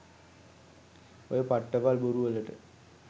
ඔය පට්ටපල් බොරු වලට